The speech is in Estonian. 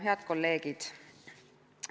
Head kolleegid!